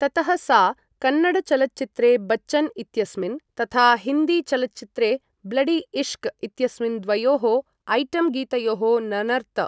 ततः सा कन्नड चलच्चित्रे बच्चन् इत्यस्मिन्, तथा हिन्दी चलच्चित्रे ब्लडी इश्श्क् इत्यस्मिन् द्वयोः ऐटम् गीतयोः ननर्त।